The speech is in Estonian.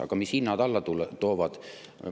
Aga mis hinnad alla tooks?